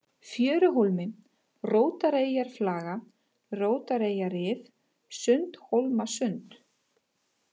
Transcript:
Fjöruhólmi, Rótareyjarflaga, Rótareyjarrif, Sundhólmasund